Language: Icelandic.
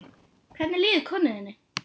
Hvernig líður konu þinni?